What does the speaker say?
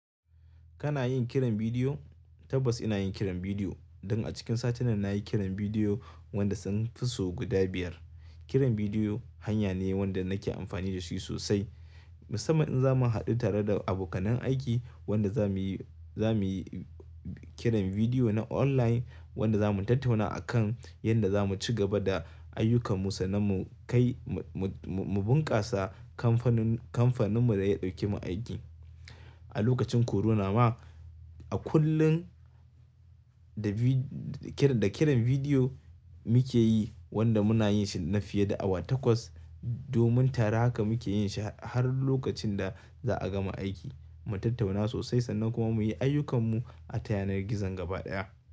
Kana yin kiran bidiyo? Tabbas ina yin kiran bidiyo. Don a cikin sati nan na yi kiran bidiyo wanda sun fi sau guda biyar. Kiran bidiyo hanya ne wanda nake amfani da shi sosai. Musamman in za mu haɗu tare da abokan aiki wanda za mu yi, za mu yi kiran bidiyo na online wanda za mu tattauna a kan yadda za mu ci gaba da ayyukan mu sannan mu kai mu, mu, mu bunkasa kamfanin, kamfanin mu da ya ɗauke mu aiki. A lokacin korona ma a kullum da kiran, da kiran bidiyo muke yi wanda muna yin shi na fiye da awa takwas domin tare haka muke yin shi har lokacin da za a gama aiki. Mu tattauna sosai sannan kuma mu yi ayyukan mu a kan yanar gizon gaba ɗaya.